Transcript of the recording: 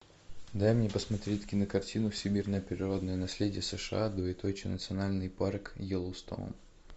дай мне посмотреть кинокартину всемирное природное наследие сша двоеточие национальный парк йеллоустоун